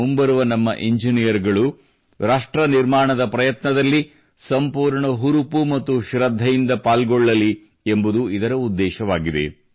ಮುಂಬರುವ ನಮ್ಮ ಇಂಜಿನೀಯರ್ ಗಳು ರಾಷ್ಟ್ರ ನಿರ್ಮಾಣದ ಪ್ರಯತ್ನದಲ್ಲಿ ಸಂಪೂರ್ಣ ಹುರುಪು ಮತ್ತು ಶೃದ್ಧೆಯಿಂದ ಪಾಲ್ಗೊಳ್ಳಲಿ ಎಂಬುದು ಇದರ ಉದ್ದೇಶವಾಗಿದೆ